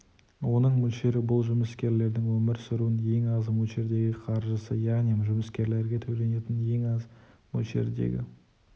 оның мөлшері бұл жұмыскерлердің өмір сүруінің ең аз мөлшердегі қаржысы яғни жұмыскерлерге төленетін ең аз мөлшердегі